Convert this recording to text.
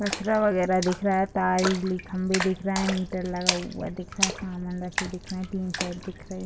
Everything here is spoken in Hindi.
कचरा वगैरह दिख रहा है खंभे दिख रहे हैं मीटर लगा हुआ दिख रहा है सामान रखे दिख रहे हैं टीन सेट दिख रहे --